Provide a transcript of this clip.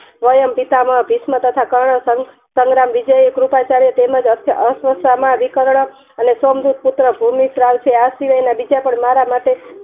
સ્વયમ પિતામહ તથા કર્ણ સંગ્રામ વિજય કૃપા ચાર્ય તથા અછ માં ભૂમિ સર્વં છે આ સિવાય ના બીજા પણ મારા માટે